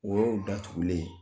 O y'o datugulen ye.